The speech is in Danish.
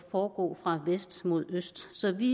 foregå fra vest mod øst så vi